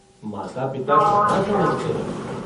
माता पिता कहाँ समझते हैं।